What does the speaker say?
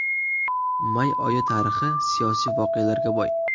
May oyi tarixi siyosiy voqealarga boy.